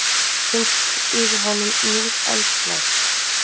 Finnst yfir honum nýr andblær.